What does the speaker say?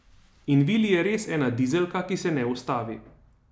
In Vili je res ena dizelka, ki se ne ustavi.